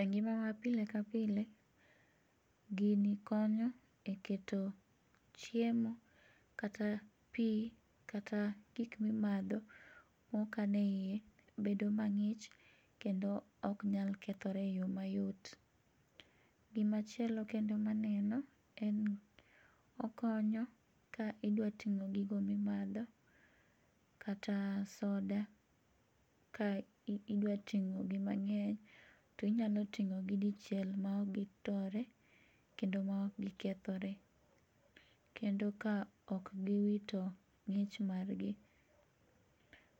E ng'ima ma pile ka pile gini konyo e keto chiemo, kata pi, kata gik mimatho mokanie hiye bedo mang'ich kendo ok nyal kethore e yo mayot. Gimachielo kendo maneno en okonyo ka idwa ting'o gigo mimatho kata soda kae idwa ting'ogi mang'eny inyalo ting'o gi dichiel ma ok gitore kendo ma ok gikethore, kendo ka ok giwito ng'ich margi.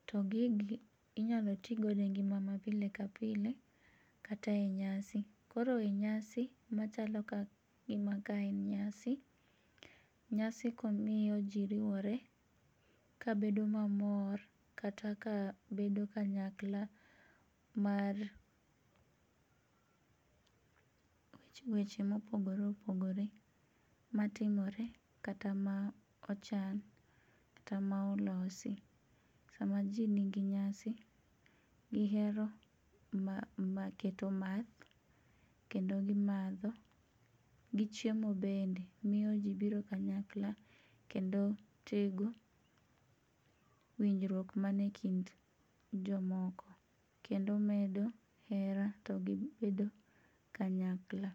To gingi inyalo tigodo e ng'ima mapile pile kata e nyasi, koro e nyasi machalo gima ka en nyasi, nyasi miyo ji riwore kabedo mamor kata ka bedo kanyakla mar weche mopogore opogore matimore kata ma ochan kata ma olosi samaji nigi nyasi gihero gimaketo math kendo gimatho, gi chiemo bende miyo ji biro kanyakla kendo tego winjruok mie kind jomoko kendo medo hera to gibedo kanyakla.